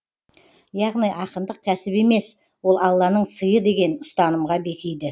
яғни ақындық кәсіп емес ол алланың сыйы деген ұстанымға бекиді